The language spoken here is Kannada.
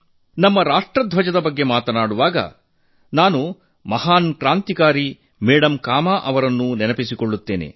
ನಮ್ಮ ರಾಷ್ಟ್ರಧ್ವಜದ ಬಗ್ಗೆ ಮಾತನಾಡುವಾಗ ನಾನು ಶ್ರೇಷ್ಠ ಕ್ರಾಂತಿಕಾರಿ ಮೇಡಂ ಕಾಮಾ ಅವರನ್ನೂ ನೆನಪಿಸಿಕೊಳ್ಳುತ್ತೇನೆ